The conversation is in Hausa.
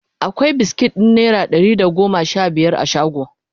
akwai biskit ɗin naira Dari da goma Sha biyar a shago?